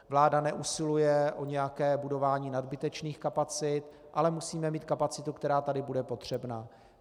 Vláda neusiluje o nějaké budování nadbytečných kapacit, ale musíme mít kapacitu, která tady bude potřebná.